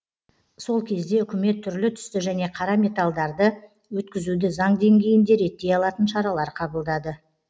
сол кезде үкімет түрлі түсті және қара металдарды өткізуді заң деңгейінде реттей алатын шаралар қабылдады